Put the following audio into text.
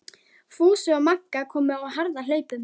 Fúsi og Magga komu á harðahlaupum.